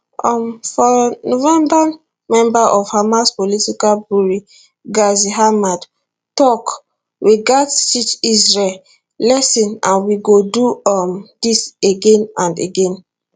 um for november member of hamas political bureau ghazi hamad tok we gatz teach israel lesson and we go do um dis again and again